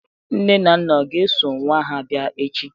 nne na nna ga-eso nwa ha bia echi?